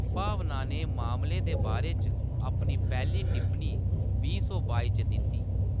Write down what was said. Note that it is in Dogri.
भावना ने मामले दे बारे च अपनी पैह्‌ली टिप्पणी बीह् सौ बाई च दित्ती।